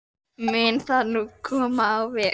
Mun það nú komið á veg.